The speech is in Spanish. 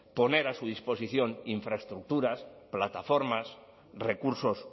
poner a su disposición infraestructuras plataformas recursos